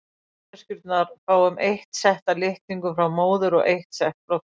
Við manneskjurnar fáum eitt sett af litningum frá móður og eitt sett frá föður.